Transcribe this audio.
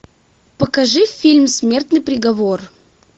покажи фильм смертный приговор